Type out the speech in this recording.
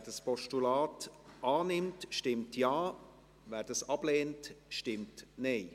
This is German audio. Wer dieses Postulat annimmt, stimmt Ja, wer es ablehnt, stimmt Nein.